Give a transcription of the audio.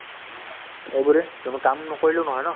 এইবোৰে কিন্তু কাম নকৰিলেও নহয় ন